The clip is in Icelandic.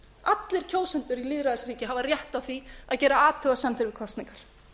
allir kjósendur í lýðræðisríki hafa rétt á því að gera athugasemdir við kosningar